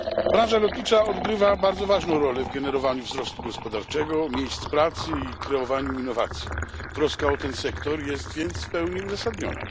Branża lotnicza odgrywa bardzo ważną rolę w generowaniu wzrostu gospodarczego, miejsc pracy i w kreowaniu innowacji. Troska o ten sektor jest więc w pełni uzasadniona.